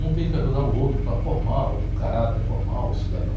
Um tem que ajudar o outro para formar uh, o caráter, formar o cidadão.